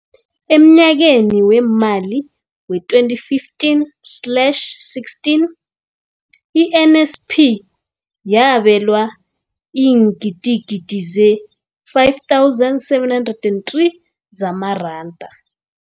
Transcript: Emnyakeni weemali we-2015 slash 16, i-NSNP yabelwa iingidigidi ezi-5 703 zamaranda.